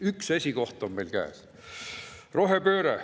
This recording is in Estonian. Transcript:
Üks esikoht on meil käes!